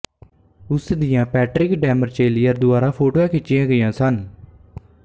ਉਸ ਦੀਆਂ Patrick Demarchelier ਦੁਆਰਾ ਫੋਟੋਆਂ ਖਿੱਚੀਆਂ ਗਈਆਂ ਸਨ